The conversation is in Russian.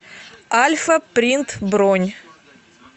альфа принт бронь